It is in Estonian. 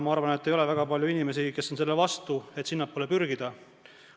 Ma arvan, et ei ole väga palju inimesi, kes on selle vastu, et sinnapoole pürgida.